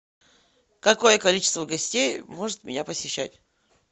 какое количество гостей может меня посещать